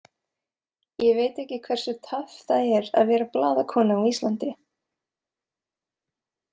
Ég veit ekki hversu töff það er að vera blaðakona á Íslandi.